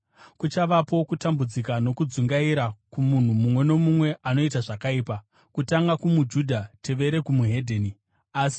Kuchavapo kutambudzika nokudzungaira kumunhu mumwe nomumwe anoita zvakaipa: kutanga kumuJudha, tevere weDzimwe Ndudzi;